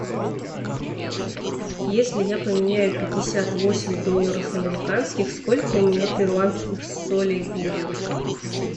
если я поменяю пятьдесят восемь долларов американских сколько у меня перуанских солей будет